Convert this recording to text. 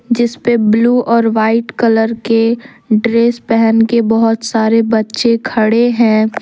जिसपे ब्लू और white colour के ड्रैस पहन के बहुत सारे बच्चे खडे है।